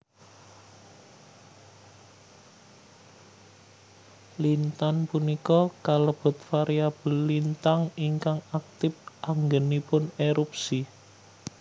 Lintan punika kalebet variabel lintang ingkang aktip anggenipun erupsi